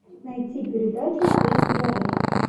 найти передачу пусть говорят